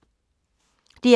DR K